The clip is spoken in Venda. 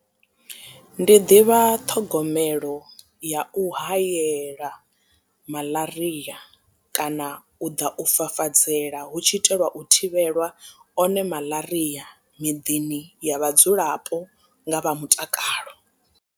Ndi ḓivha ṱhogomelo ya u hayela malaria kana u ḓa u fafadzela hu tshi itelwa u thivhelwa one malaria miḓini ya vhadzulapo nga vha mutakalo.